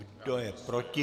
Kdo je proti?